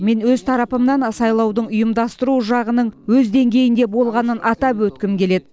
мен өз тарапымнан сайлаудың ұйымдастыру жағының өз деңгейінде болғанын атап өткім келеді